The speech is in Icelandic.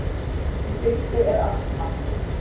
Í fyrstu er allt matt.